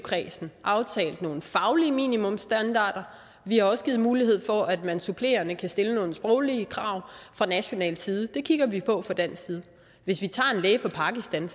kredsen aftalt nogle faglige minimumsstandarder og vi har også givet mulighed for at man supplerende kan stille nogle sproglige krav fra national side det kigger vi på fra dansk side hvis vi tager en læge for pakistan